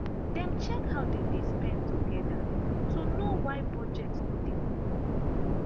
dem check how dem dey spend together to know why budget no dey work.